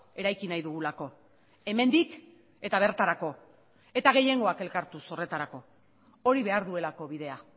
eraiki nahi dugulako hemendik eta bertarako eta gehiengoak elkartuz horretarako hori behar duelako bidea